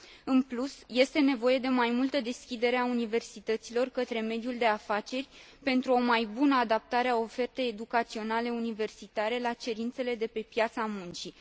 În plus, este nevoie de mai multă deschidere a universităților către mediul de afaceri, pentru o mai bună adaptare a ofertei educaționale universitare la cerințele de pe piața muncii.